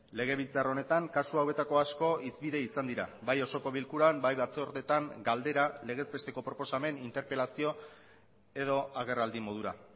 legebiltzar honetan kasu hauetako asko hizpide izan dira bai osoko bilkuran bai batzordetan galdera legez besteko proposamen interpelazio edo agerraldi modura